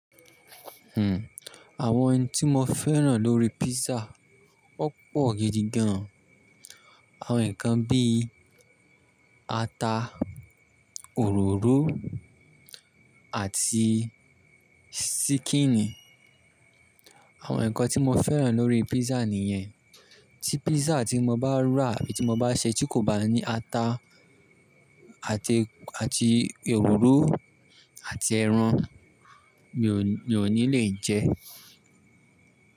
Hmmm àwọn oun tí mo fẹ́ràn lórí pizza. Ọ̀pọ̀ gidi gan. Àwọn nǹkan bí i ata, òróró àti ṣíkìnì. Àwọn nǹkan tí mo fẹ́ràn lórí písà nìyẹn. Tí pízza tí mo bá rà àbí tí mo bá ṣẹ́ tí kò bá ní ata àti, àti òróró àti ẹran, mi ò ní le jẹ ẹ́.